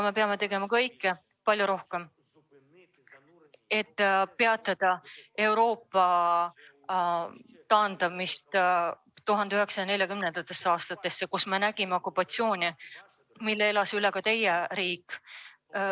Me peame tegema palju rohkem, et peatada Euroopa tagasiminekut 1940. aastatesse, kus me nägime okupatsiooni, mille elas üle ka teie riik.